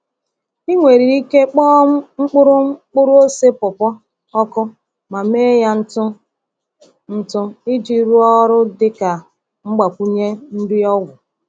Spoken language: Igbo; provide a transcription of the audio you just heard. Ị nwere ike kpọọ mkpụrụ mkpụrụ-ose pawpaw ọkụ ma mee ya ntụ ntụ iji rụọ ọrụ dị ka mgbakwunye nri ọgwụ.